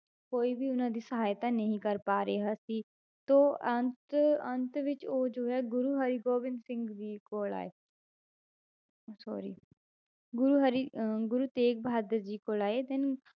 ਕੋਈ ਵੀ ਉਹਨਾਂ ਦੀ ਸਹਾਇਤਾ ਨਹੀਂ ਕਰ ਪਾ ਰਿਹਾ ਸੀ, ਤਾਂ ਅੰਤ ਅੰਤ ਵਿੱਚ ਉਹ ਜੋ ਹੈ ਗੁਰੂ ਹਰਿਗੋਬਿੰਦ ਸਿੰਘ ਜੀ ਕੋਲ ਆਏ sorry ਗੁਰੂ ਹਰਿ~ ਅਹ ਗੁਰੂ ਤੇਗ ਬਹਾਦਰ ਜੀ ਕੋਲ ਆਏ then